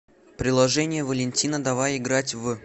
приложение валентина давай играть в